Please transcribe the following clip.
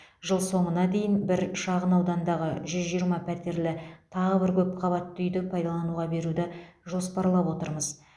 жыл соңына дейін бір шағын аудандағы жүз жиырма пәтерлі тағы бір көпқабатты үйді пайдалануға беруді жоспарлап отырмыз